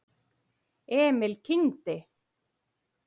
Emil kyngdi.